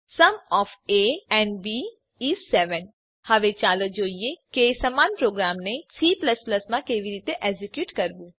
sum of a and b is 7 હવે ચાલો જોઈએ કે સમાન પ્રોગ્રામને સી માં કેવી રીતે એક્ઝેક્યુટ કરવું